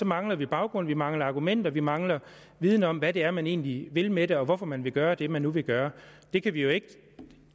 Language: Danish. mangler vi baggrund vi mangler argumenter vi mangler viden om hvad det er man egentlig vil med det og hvorfor man vil gøre det man nu vil gøre det kan vi jo